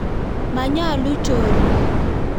Manyaluu chorik